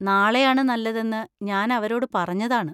നാളെയാണ് നല്ലതെന്ന് ഞാൻ അവരോട് പറഞ്ഞതാണ്.